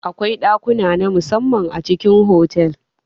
Akwai ɗakuna namu samman a cikin otal.